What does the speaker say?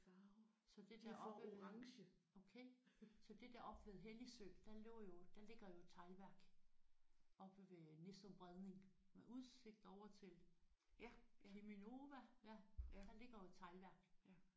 Okay så det der oppe ved okay så det der oppe ved Helligsø der lå jo der ligger jo et teglværk oppe ved Nissum Bredning med udsigt over til Cheminova der ligger jo et teglværk